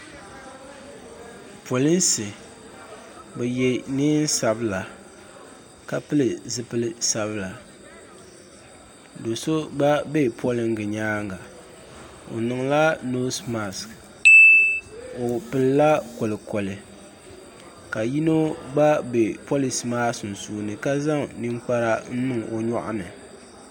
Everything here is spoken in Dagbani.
Polinsi bɛ ye niɛn'sabla ka pili zipil'sabila do'so gba be polinga nyaanga n niŋla noosi maasi o pinila kolikoli ka yino gba be polinsi maa sunsuuni ka zaŋ ninkpara n niŋ o nyɔɣu ni.